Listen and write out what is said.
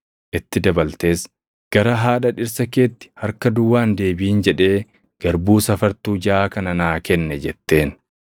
itti dabaltees, “ ‘Gara haadha dhirsa keetti harka duwwaa hin deebiʼin’ jedhee garbuu safartuu jaʼaa kana naa kenne” jetteen.